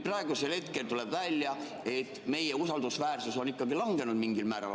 Praegusel hetkel tuleb välja, et meie usaldusväärsus on mingil määral kahanenud.